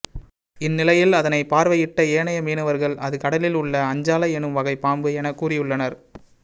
இந்நிலையில் அதனை பார்வையிட்ட ஏனைய மீனவர்கள் அது கடலில் உள்ள அஞ்சாலை எனும் வகை பாம்பு என கூறியுள்ளனர்